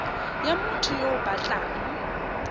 ya motho yo o batlang